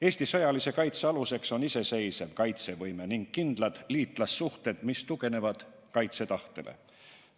Eesti sõjalise kaitse aluseks on iseseisev kaitsevõime ning kindlad liitlassuhted, mis tuginevad kaitsetahtele.